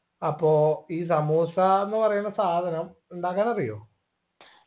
അപ്പോ ഈ സമൂസാന്ന് പറയിണ സാധനം ഉണ്ടാക്കാനറിയോ